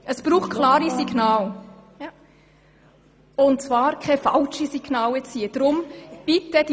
Es braucht klare Signale, und sie dürfen nicht falsch sein.